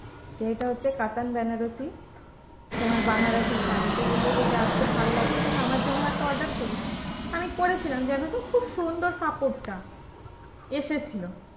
যে এটা হচ্ছে কাতান বেনারসি। তোমার বানারসি শাড়ী তো বললো যে, যাক খুব ভালো লাগছে তাহলে আমার জন্য একটা order করিস। আমি করেছিলাম জানতো খুব সুন্দর কাপড়টা এসেছিলো।